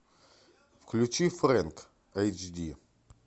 включи фрэнк эйч ди